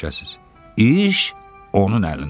İş onun əlindədir.